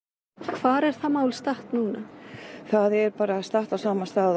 hvar er það mál statt núna það er bara statt á sama stað